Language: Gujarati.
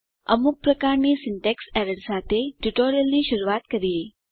અમુક પ્રકારની સિન્ટેક્સ એરર્સ સાથે ટ્યુટોરીયલની શરૂઆત કરીએ